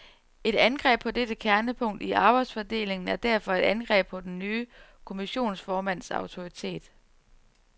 Et angreb på dette kernepunkt i arbejdsfordelingen er derfor et angreb på den nye kommissionsformands autoritet.